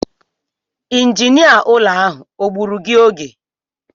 Injinia ụlọ ahụ o gbuuru gị oge?